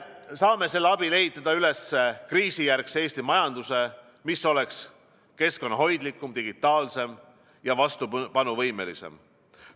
Saame selle abil ehitada üles kriisijärgse Eesti majanduse, mis oleks keskkonnahoidlikum, digitaalsem ja vastupanuvõimelisem.